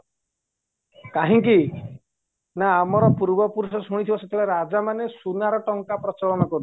କାହିଁକି ନା ଆମର ପୂର୍ବ ପୁରୁଷ ଶୁଣିଥିବା ସେତବେଳେ ରାଜାମାନେ ସୁନାର ଟଙ୍କା ପ୍ରଚଳନ କରୁଥିଲେ